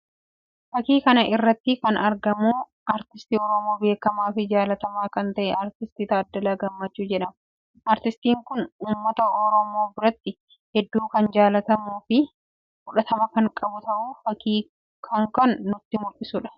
Fakkii kana irratti kan argamu aartistii Oromoo beekamaa fi jaallatamaa kan tahe aartist Taaddalaa Gammachuu jedhama. Aartistiin kun uummata Oromoo biratti hedduu kan jaallatamuu fi fudhatama kan qabuu tu fakkii kan irraa mullata.